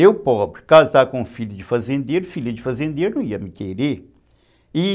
Eu, pobre, casar com filho de fazendeiro, filha de fazendeiro não ia me querer, e